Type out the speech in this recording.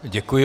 Děkuji.